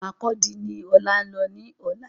Markurdi ni Ọlá ńlọ ní ọ̀la